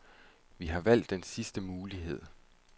Vi har valgt den sidste mulighed.